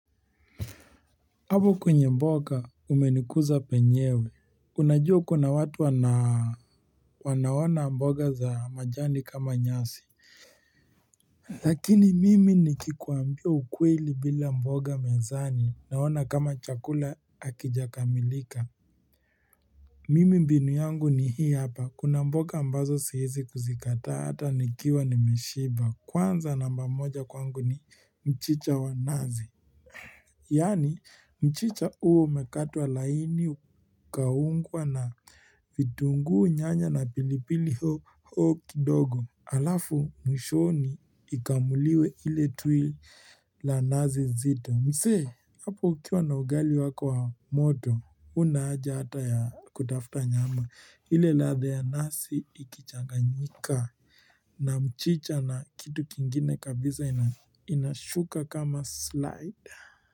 Hapo kwenye mboga umenikuza penyewe unajua kuna watu wanaona mboga za majani kama nyasi Lakini mimi nikikuambia ukweli bila mboga mezani naona kama chakula hakijakamilika Mimi mbinu yangu ni hii hapa, kuna mboga ambazo siezi kuzikataa hata nikiwa nimeshiba Kwanza namba moja kwangu ni mchicha wa nazi Yani mchicha uwe umekatwa laini ukaungwa na vitungu nyanya na pilipili hoho kidogo Alafu mwishoni ikamuliwe ile tui la nazi zito msee, hapo ukiwa na ugali wako wa moto Unahaja hata ya kutafuta nyama ile ladha ya nazi ikichanganyika na mchicha na kitu kingine kabisa inashuka kama slide.